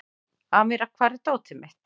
Amíra, hvar er dótið mitt?